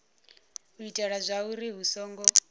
u itela zwauri hu songo